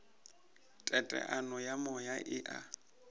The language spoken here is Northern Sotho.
teteano ya moya e a